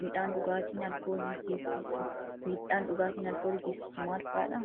miidhaan dhugaatiin alkoolii geessisu maal fa'aadha?